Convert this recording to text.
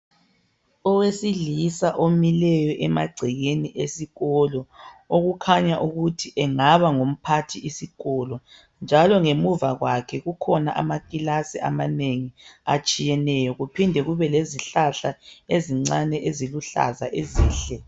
Owesilisa omileyo emagcekeni esikolo okukhanya ukuthi engaba ngumphathisikolo njalo ngemva kwakhe kukhona amakilasi amanengi atshiyeneyo kuphinde kube lezihlahla ezincane eziluhlaza ezinhle